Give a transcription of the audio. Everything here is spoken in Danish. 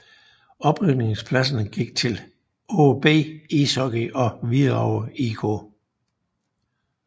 Oprykningpladserne gik til AaB Ishockey og Hvidovre IK